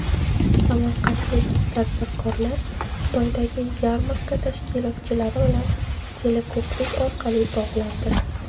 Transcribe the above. Samarqandlik tadbirkorlar Xitoydagi yarmarka tashkilotchilari bilan teleko‘prik orqali bog‘landi.